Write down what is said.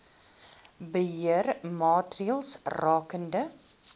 beheer maatreëls rakende